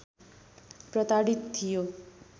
प्रताडित थियो